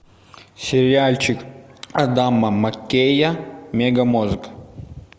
сериальчик адама маккея мегамозг